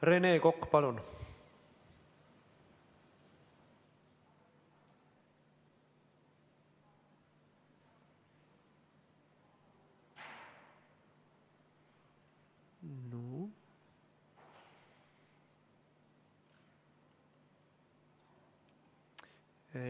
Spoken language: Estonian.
Rene Kokk, palun!